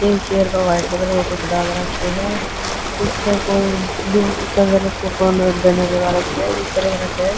एक चेयर प white colour गो कुछ डाल राख्यो ह पीछे कोई ब्ल्यू कलर को बैनर लगा राख्यो ह जिसपे लिख राख्यो ह।